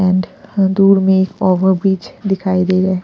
And दूर में एक ओवर बीच दिखाई दे रहा है।